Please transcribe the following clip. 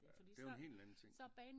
Ja det er jo en helt anden ting